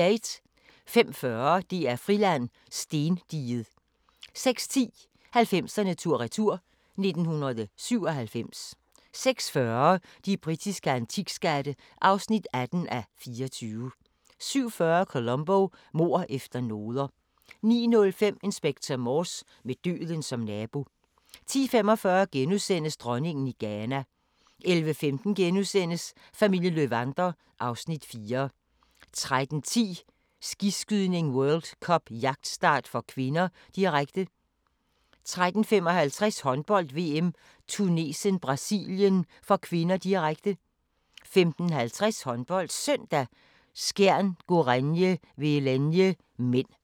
05:40: DR-Friland: Stendiget 06:10: 90'erne tur-retur: 1997 06:40: De britiske antikskatte (18:24) 07:40: Columbo: Mord efter noder 09:05: Inspector Morse: Med døden som nabo 10:45: Dronningen i Ghana * 11:15: Familien Löwander (Afs. 4)* 13:10: Skiskydning: World Cup - jagtstart (k), direkte 13:55: Håndbold: VM - Tunesien-Brasilien (k), direkte 15:50: HåndboldSøndag: Skjern-Gorenje Velenje (m)